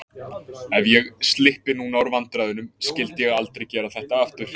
Ef ég slyppi núna úr vandræðunum, skyldi ég aldrei gera þetta aftur.